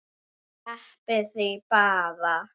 Sleppið því bara.